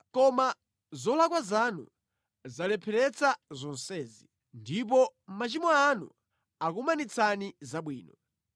Koma zolakwa zanu zalepheretsa zonsezi; ndipo machimo anu akumanitsani zabwino.